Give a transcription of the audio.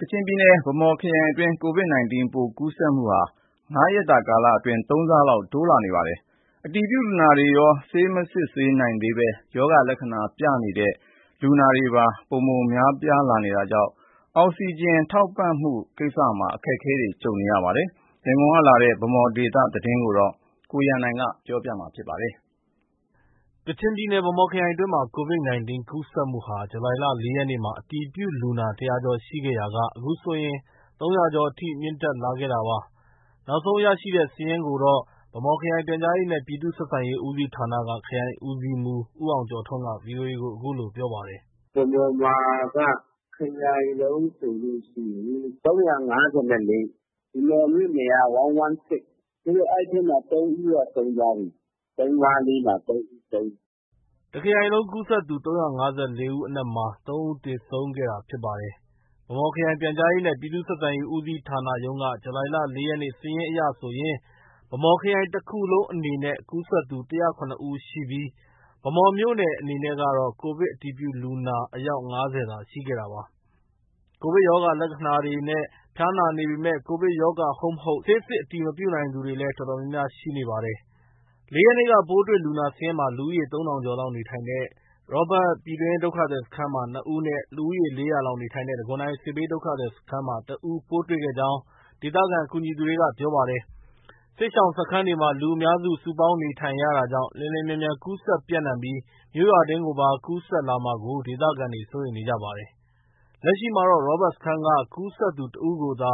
ကချင်ပြည်နယ် ဗန်းမော်ခရိုင်အတွင်းမှာ Covid 19 ပိုးကူးစက်မှုဟာ ၅ ရက်အတွင်း ၃ ဆလောက် တိုးလာပါတယ်။ အတည်ပြုလူနာတွေရော၊ ဆေး မစစ်နိုင်သေးပေမဲ့ ကိုဗစ်ရောဂါလက္ခဏာပြနေသူတွေပါ များပြားလာတာကြောင့် အောက်စီဂျင် ထောက်ပံ့ရေးမှာ အခက်အခဲတွေ ရှိနေပါတယ်။ ရန်ကုန်ကလာတဲ့ ဗန်းမော်ဒေသ သတင်းကိုတော့ ကိုရန်နိုင်က တင်ပြထားပါတယ်။ ကချင်ပြည်နယ် ဗန်းမော်ခရိုင်အတွင်းမှာ Covid 19 ကူးစက်မှုဟာ ဇူလိုင် ၄ ရက်နေ့က အတည်ပြုလူနာ ၁၀၀ ကျော်ရှိခဲ့ရာက အခုဆိုရင် ၃၀၀ ကျော်အထိ မြင့်တက်လာခဲ့တာပါ။ လက်ရှိ နောက်ဆုံး ရရှိထားတဲ့စာရင်းကိုတော့ ဗန်းမော်ခရိုင် ပြန်ကြားရေးနဲ့ ပြည်သူ့ ဆက်ဆံရေး ဦးစီးဌာနက ခရိုင်ဦးစီးမှုး ဦးအောင်ကျော်ထွန်းက VOA ကို အခုလို ပြောပါတယ်။ “ဗန်းမော်မှာက ခရိုင်လုံးဆိုရင် ၃၅၄ ဦး၊ ဗန်းမော်မြို့နယ်က ၁၁၆။ အဲဒီထဲမှာ ၃ ဦးက ဆုံးသွားပြီ။ ၃၅၄ မှာ ၃ ဦးဆုံးတယ်။ ” တစ်ခရိုင်လုံး ကူးစက်သူ ၃၅၄ ဦးအနက်မှာ ၃ ဦးသေဆုံးခဲ့တာဖြစ်ပါတယ်။ ဗန်းမော်ခရိုင် ပြန်ကြားရေးနဲ့ ပြည်သူ့ ဆက်ဆံရေး ဦးစီးဌာနရုံးက ဇူလိုင်လ ၄ ရက်နေ့ စာရင်းအရဆိုရင် ဗန်းမော်ခရိုင်တစ်ခရိုင်လုံးအနေနဲ့ ကူးစက်သူ ၁၀၇ ဦးရှိပြီး ဗန်းမော်မြို့နယ်အနေနဲ့ကတော့ ကိုဗစ်အတည်ပြုလူနာအယောက် ၅၀ သာ ရှိခဲ့တာပါ။ ကိုဗစ်ရောဂါလက္ခဏာတွေနဲ့ ဖျားနာနေပေမဲ့ ကိုဗစ်ရောဂါ ဟုတ် မဟုတ် ဆေးစစ်အတည်မပြုနိုင်သူတွေလည်း တော်တော်များများရှိနေပါတယ်။ ၄ ရက်နေ့ ပိုးတွေ့လူနာစာရင်းမှာ လူဦးရေ ၃ ထောင်ကျော်လောက်နေထိုင်တဲ့ ရောဘတ် ပြည်တွင်းဒုက္ခသည်စခန်းမှာ ၂ ဦးနဲ့ လူဦးရေ ၄၀၀ လောက်နေထိုင်တဲ့ တံခွန်တိုင်စစ်ဘေးဒုက္ခသည်စခန်းမှာ ၁ ဦးပိုးတွေ့ခဲ့ကြောင်း ဒေသခံ ကူညီသူတွေက ပြောခဲ့ပါတယ်။ စစ်ရှောင်စခန်းတွေမှာ လူအများ စုပေါင်းနေထိုင်ရတာကြောင့် လျင်လျင်မြန်မြန်ကူးစက်ပြန့်နှံပြီး မြို့ရွာတွင်းကိုပါ ကူးစက်လာမှာကို ဒေသခံတွေ စိုးရိမ်နေကြပါတယ်။ လက်ရှိမှာတော့ ရောဘတ်စခန်းက ကူးစက်သူတစ်ဦးကိုသာ